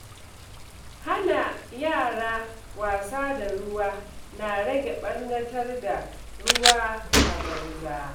Hana yara wasa da ruwa na rage ɓarnatar da ruwa a banza.